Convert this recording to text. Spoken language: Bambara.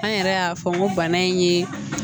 An yɛrɛ y'a fɔ n ko bana in ye